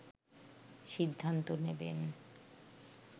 সিদ্ধান্ত নেবেন